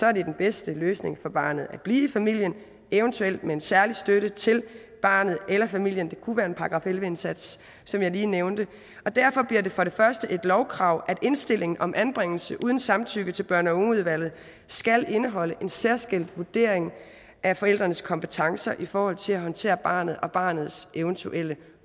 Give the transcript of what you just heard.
er det den bedste løsning for barnet at blive i familien eventuelt med en særlig støtte til barnet eller familien det kunne være en § elleve indsats som jeg lige nævnte derfor bliver det for det første et lovkrav at indstillingen om anbringelse uden samtykke til børn og unge udvalget skal indeholde en særskilt vurdering af forældrenes kompetencer i forhold til at håndtere barnet og barnets eventuelle